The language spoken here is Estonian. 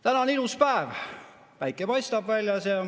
Täna on ilus päev, päike paistab väljas.